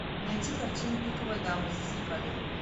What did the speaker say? найти картину пиковая дама зазеркалье